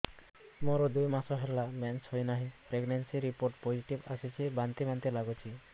ମୋର ଦୁଇ ମାସ ହେଲା ମେନ୍ସେସ ହୋଇନାହିଁ ପ୍ରେଗନେନସି ରିପୋର୍ଟ ପୋସିଟିଭ ଆସିଛି ବାନ୍ତି ବାନ୍ତି ଲଗୁଛି